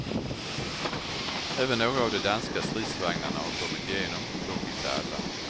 Även några av de danska stridsvagnarna har kommit igenom, dock inte alla.